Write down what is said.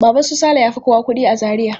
Baban su Saleh ya fi kowa kuɗi a Zaria.